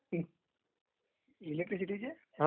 इलेक्ट्रीसिटीचे..